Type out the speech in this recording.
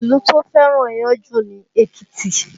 Ìlú tó fẹ́ràn iyán jù ni Èkìtì